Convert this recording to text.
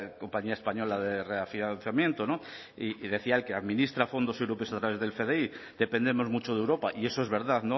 compañía española de reafianzamiento y decía él que administra fondos europeos del fdi dependemos mucho de europa y eso es verdad